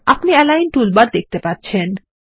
আপনি align toolbar দেখতে পাবেন